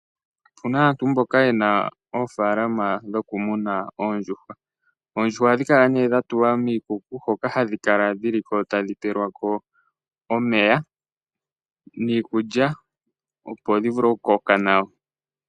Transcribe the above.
Opu na aantu mboka ye na oofalama dhokumuna oondjuhwa. Oondjuhwa ohadhi kala nee dha tulwa miikuku, hoka hadhi kala dhi li ko tadhi pelwa ko omeya niikulya opo dhi vule okukoka nawa.